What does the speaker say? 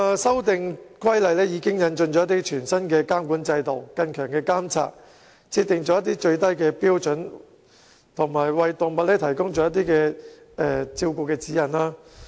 修訂規例引進了全新的監管制度和加強監察，亦設定了最低標準及提供動物照顧指引。